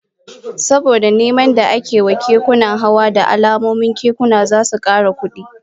Saboda neman da ake wa kekunan hawa, da alamun kekuna zasu kara kudi